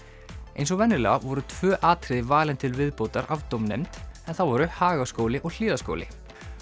eins og venjulega voru tvö atriði valin til viðbótar af dómnefnd það voru Hagaskóli og Hlíðaskóli